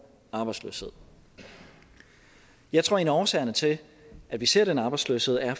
arbejdsløshed jeg tror at en af årsagerne til at vi ser den arbejdsløshed er